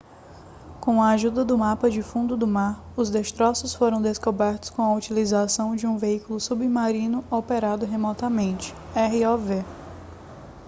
com a ajuda do mapa do fundo do mar os destroços foram descobertos com a utilização de um veículo submarino operado remotamente rov